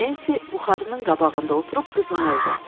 Nensi buxarının qabağında oturub qızınırdı.